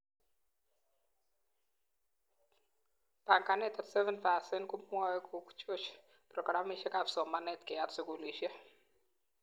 Banganet 37% komwoi kochoch pragramishekab somanet keyat skulishek